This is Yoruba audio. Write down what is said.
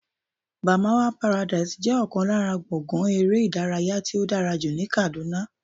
Barmawa paradise jẹ́ ọ̀kan lára gbọ̀ngán eré ìdárayá tí ó dára jù ní Kàdúná